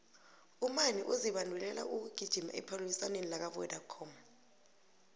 umani uzibandulela ukugijima ephaliswaneni lakwavodacom